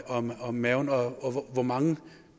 om om maven og hvor mange